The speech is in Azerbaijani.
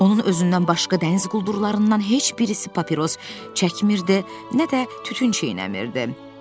Onun özündən başqa dəniz quldurlarından heç birisi papiros çəkmirdi, nə də tütün çeynəmirdi.